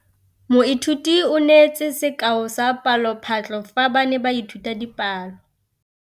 Moithuti o neetse sekaô sa palophatlo fa ba ne ba ithuta dipalo.